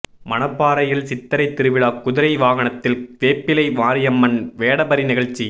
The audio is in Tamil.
மணப்பாறையில் சித்திரை திருவிழா குதிரை வாகனத்தில் வேப்பிலை மாரியம்மன் வேடபரி நிகழ்ச்சி